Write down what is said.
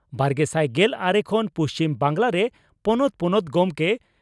ᱵᱟᱨᱜᱮᱥᱟᱭ ᱜᱮᱞ ᱟᱨᱮ ᱠᱷᱚᱱ ᱯᱩᱪᱷᱤᱢ ᱵᱟᱝᱜᱽᱞᱟᱨᱮ ᱯᱚᱱᱚᱛ ᱯᱚᱱᱚᱛ ᱜᱚᱢᱠᱮ